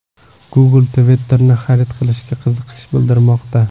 Google Twitter’ni xarid qilishga qiziqish bildirmoqda.